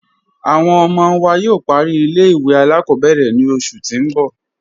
Awọn ọmọ wa yóò pàrí ilẹ̀-ìwé aláàkọ̀bẹ̀rẹ̀ ni oṣù tì n bọ̀